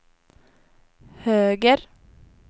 höger